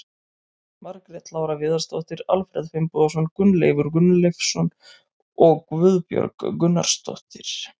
Margrét Lára Viðarsdóttir, Alfreð Finnbogason, Gunnleifur Gunnleifsson og Guðbjörg Gunnarsdóttir.